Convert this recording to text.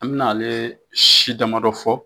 An mɛna ale si damadɔ fɔ.